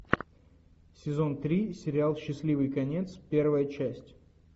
сезон три сериал счастливый конец первая часть